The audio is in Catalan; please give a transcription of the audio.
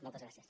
moltes gràcies